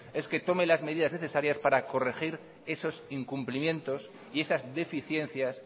es que tome las medidas necesarias para corregir esos incumplimientos y esas deficiencias